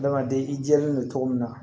Adamaden i jɛlen no cogo min na